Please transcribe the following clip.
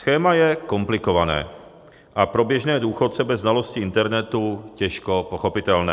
Schéma je komplikované a pro běžné důchodce bez znalosti internetu těžko pochopitelné.